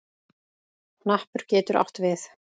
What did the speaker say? Hnappur getur átt við